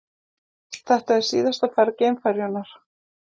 Þetta er síðasta ferð geimferjunnar